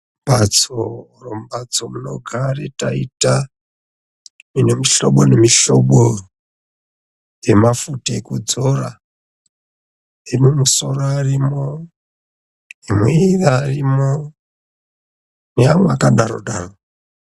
Mbatso inogara taita ine mihlobo nemihlobo yemafuta ekudzora emumusoro arimo emuviri arimo neamwe akadaro daro.